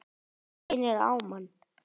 Það reynir á mann!